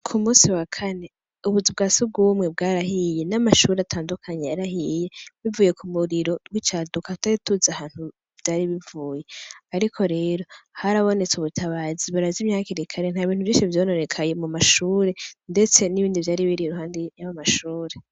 Ku musi wa kane, ubuzu bwa sugwumwe bwarahiye n'amashure atandukanye yarahiye, bivuye kumuriro wicaduka tutari tuzi ahantu vyari bivuye, ariko rero harabonetse ubutabazi barazimya hakiri kare, nta bintu vyinshi vyononekaye mumashure ndetse n'ibindi vyari biri iruhande yayo mashure.